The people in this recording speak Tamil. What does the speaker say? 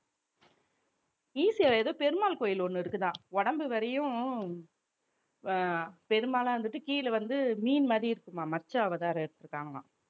ECR ஏதோ பெருமாள் கோயில் ஒண்ணு இருக்குதாம் உடம்பு வரையும் அஹ் பெருமாளா இருந்துட்டு கீழே வந்து மீன் மாதிரி இருக்குமாம் மச்ச அவதாரம் எடுத்துருக்காங்கலாம்